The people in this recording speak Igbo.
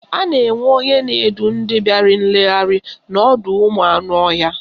A na-enwe onye na-edu ndị bịara nlegharị n'ọdọụmụanụọhịa.